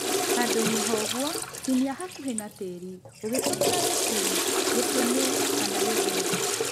handũinĩ ha ũguo tinia hakuhĩ na tĩri ũgitũmĩra gĩturu, gĩtĩmi kana gĩthũũ